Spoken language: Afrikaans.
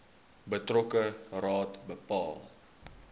betrokke raad bepaal